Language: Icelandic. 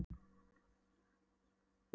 Björg hafði reynt að hefja nám í Menntaskólanum í